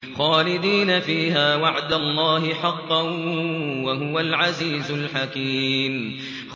خَالِدِينَ فِيهَا ۖ وَعْدَ اللَّهِ حَقًّا ۚ وَهُوَ الْعَزِيزُ الْحَكِيمُ